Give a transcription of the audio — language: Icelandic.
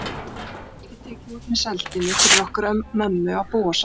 Það var ekki tekið út með sældinni fyrir okkur mömmu að búa saman.